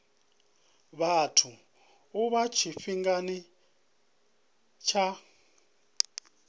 vhathu u bva tshifhingani tsha